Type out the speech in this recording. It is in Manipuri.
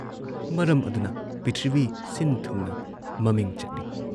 ꯃꯔꯝ ꯑꯗꯨꯅ ꯄ꯭ꯔꯤꯊꯤꯕꯤ ꯁꯤꯟꯊꯨꯡꯅ ꯃꯃꯤꯡ ꯆꯠꯂꯤ ꯫